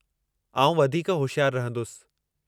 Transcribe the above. आउं वधीक होशियारु रहंदुसि।